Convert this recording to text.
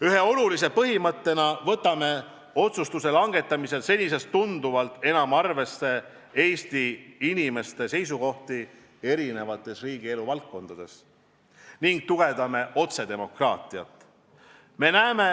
Ühe olulise põhimõttena võtame otsuste langetamisel senisest tunduvalt enam arvesse Eesti inimeste seisukohti erinevates riigielu valdkondades ning tugevdame otsedemokraatiat.